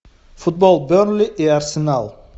футбол бернли и арсенал